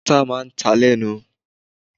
Ata máa ń ta lẹ́nu.